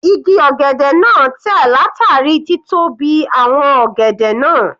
Igi ọ̀gẹ̀dẹ̀ náà tẹ̀ látàrí títóbi àwọn ọ̀gẹ̀dẹ̀ náà.